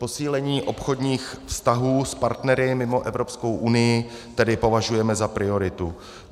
Posílení obchodních vztahů s partnery mimo Evropskou unii tedy považujeme za prioritu.